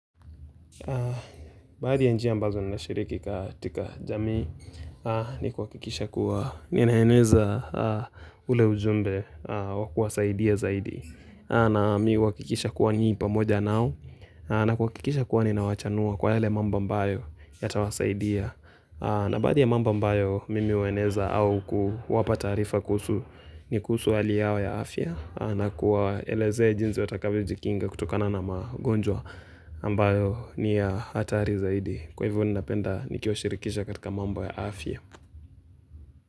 Baadhi ya njia ambazo ninashiriki katika jamii ni kuhakikisha kuwa ninaeneza ule ujumbe wa kuwasaidia zaidi. Na mimi huhakikisha kuwa ni pamoja nao na kuhakikisha kuwa ninawachanua kwa yale mambo ambayo yatawasaidia. Na baadhi ya mambo ambayo mimi hueneza au kuwapa taarifa kuhusu. Ni kuhusu hali yao ya afya, na kuwaelezea jinsi watakavyo jikinga kutokana na magonjwa. Ambayo ni ya hatari zaidi. Kwa hivyo ninapenda nikiwashirikisha katika mambo ya afya.